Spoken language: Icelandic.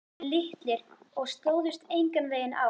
Gluggarnir litlir og stóðust enganveginn á.